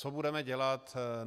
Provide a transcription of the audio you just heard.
Co budeme dělat?